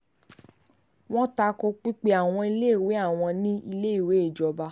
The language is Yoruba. wọ́n ta ko pípé àwọn iléèwé àwọn ní iléèwé ìjọba